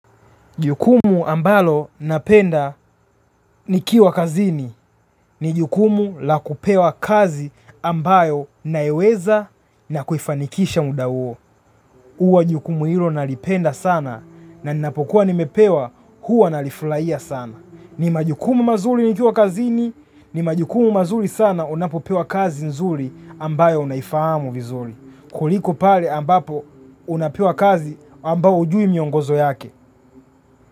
Jukumu ambalo napenda nikiwa kazini, ni jukumu la kupewa kazi ambayo naweza na kufanikisha muda huwo. Huwajukumu hilo nalipenda sana na ninapokuwa nimepewa huwa nalifurahia sana. Ni majukumu mazuri nikiwa kazini, ni majukumu mazuri sana unapopewa kazi nzuri ambayo unaifahamu vizuri. Kuliko pale ambapo unapewa kazi ambayo hujui miongozo yake.